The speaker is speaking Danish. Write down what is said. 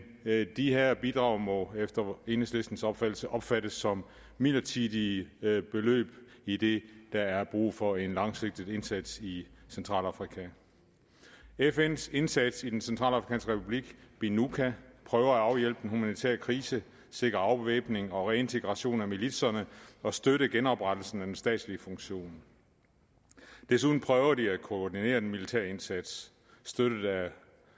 de her bidrag må efter enhedslistens opfattelse opfattes som midlertidige beløb idet der er brug for en langsigtet indsats i centralafrika fns indsats i den centralafrikanske republik binuca prøver at afhjælpe den humanitære krise sikre afvæbning og reintegration af militserne og støtte genoprettelsen af den statslige funktion desuden prøver de at koordinere den militære indsats støttet af